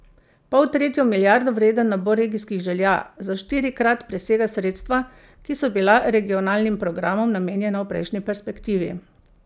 Poltretjo milijardo vreden nabor regijskih želja za štirikrat presega sredstva, ki so bila regionalnim programom namenjena v prejšnji perspektivi.